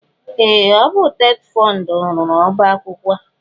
Ee! Ọ bụ TETFUND rụrụ ọbaakwụkwọ a.